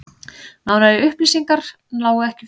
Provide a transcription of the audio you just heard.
Nánari upplýsingar lágu ekki fyrir